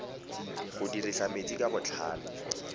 go dirisa metsi ka botlhale